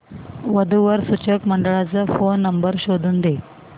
वधू वर सूचक मंडळाचा फोन नंबर शोधून दे